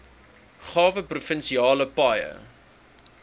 uitgawe provinsiale paaie